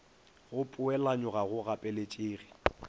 go poelanyo ga go gapeletšege